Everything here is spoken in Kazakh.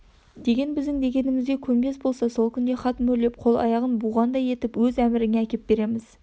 деген біздің дегенімізге көнбес болса сол күнде хат мөрлеп қол-аяғын буғандай етіп өз әміріңе әкеп береміз